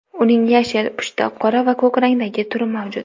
Uning yashil, pushti, qora va ko‘k rangdagi turi mavjud.